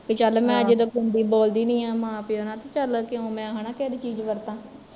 ਵੀ ਚੱਲ ਮੈਂ ਜਦੋਂ ਖੁਦ ਹੀਂ ਬੋਲਦੀ ਨੀ ਆ ਮਾ ਪਿਓ ਨਾਲ ਤੇ ਚੱਲ ਕਿਉ ਮੈਂ ਹੈਨਾ ਕਿਸੇ ਦੀ ਚੀਜ਼ ਵਰਤਾ